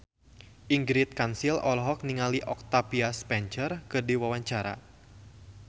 Ingrid Kansil olohok ningali Octavia Spencer keur diwawancara